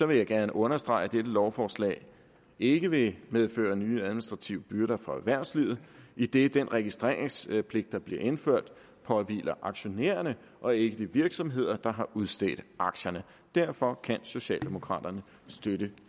vil jeg gerne understrege at dette lovforslag ikke vil medføre nye administrative byrder for erhvervslivet idet den registreringspligt der bliver indført påhviler aktionærerne og ikke de virksomheder der har udstedt aktierne derfor kan socialdemokraterne støtte